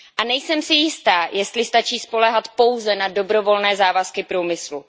Nejsem si jista, jestli stačí spoléhat pouze na dobrovolné závazky průmyslu.